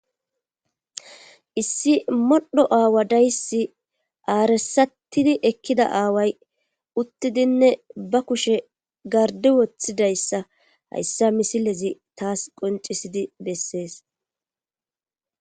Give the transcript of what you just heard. Issi modhdho aawa dayssi arssatidi ekkida aawa dayssi uttidinne ba kushe garddi wotidayssi hayssa misilezi taasi qonccisidi beesees.